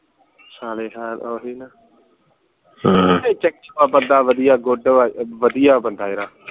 ਸਾਲੇਹਾਰ ਓਹੀ ਨਾ ਹੈ good ਆ ਵਧੀਆ ਬੰਦਾ ਯਾਰ